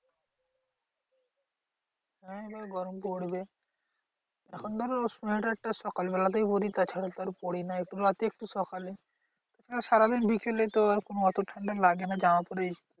হ্যাঁ তো গরম পড়বে। এখন ধরো সোয়েটার টা সকালবেলাতেই পড়ি তাছাড়া তো আর পড়িনা একটু সকালে। সারাদিন বিকেলে তো আর কোনো অত ঠান্ডা লাগে না জামা পরেই